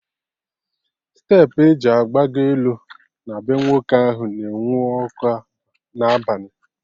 Steepụ eji agbagọ elu na bee nwoke ahụ na-enwu ọkụ n'abalị